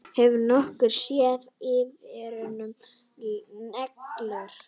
Hefurðu nokkuð séð Ífæruna nýlega?